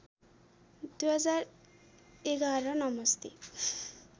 २०११ नमस्ते